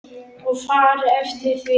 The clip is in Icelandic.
Og farið eftir því.